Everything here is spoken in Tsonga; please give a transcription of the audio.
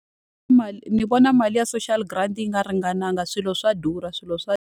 Mali ni vona mali ya social grant yi nga ringanangi, swilo swa durha, swilo swa .